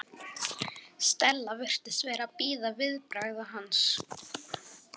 Stella virtist vera að bíða viðbragða hans.